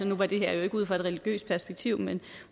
nu var det her jo ikke ud fra et religiøst perspektiv men